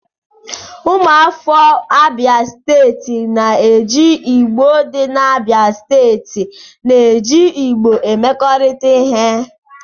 Ụmụafọ Abia Steeti na-eji Igbo dị n'Abia steeti na-eji Igbo emekọrịta ihe.